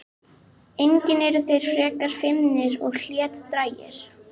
Einnig eru þeir frekar feimnir og hlédrægir.